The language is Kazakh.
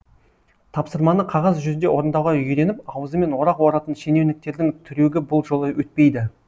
тапсырманы қағаз жүзінде орындауға үйреніп аузымен орақ оратын шенеуніктердің трюгі бұл жолы өтпейді